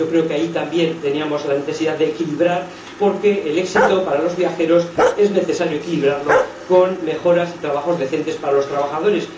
Yo creo que ahí también teníamos la necesidad de equilibrar, porque el éxito para los viajeros es necesario equilibrarlo con mejoras y trabajos decentes para los trabajadores